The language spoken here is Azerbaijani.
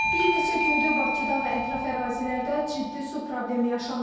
Bir neçə gündür Bakıda və ətraf ərazilərdə ciddi su problemi yaşanır.